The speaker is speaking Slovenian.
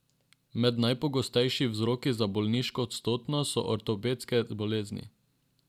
Med najpogostejši vzroki za bolniško odsotnost so ortopedske bolezni.